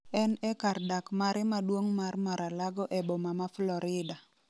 En e kar dak mare maduong' mar Mar-a-Lago e boma ma Florida.